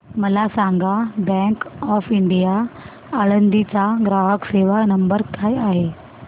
मला सांगा bank of India Alandi चा ग्राहक सेवा नंबर काय आहे